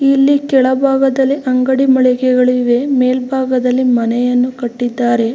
ಇಲ್ಲಿ ಕೆಳ ಬಾಗದಲ್ಲಿ ಅಂಗಡಿ ಮಳಿಗೆಗಳು ಇವೆ ಮೇಲ್ಬಾಗದಲ್ಲಿ ಮನೆಯನ್ನು ಕಟ್ಟಿದ್ದಾರೆ.